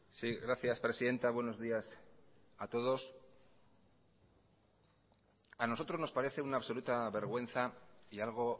si gracias presidenta buenos días a todos a nosotros nos parece una absoluta vergüenza y algo